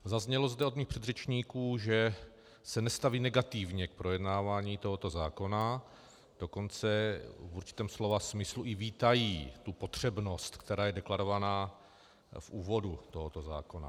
Zaznělo zde od mých předřečníků, že se nestaví negativně k projednávání tohoto zákona, dokonce v určitém slova smyslu i vítají tu potřebnost, která je deklarována v úvodu tohoto zákona.